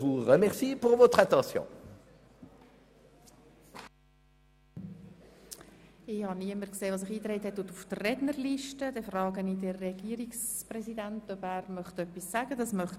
Es gibt keine Wortmeldungen, und auch der Regierungspräsident verzichtet auf das Wort.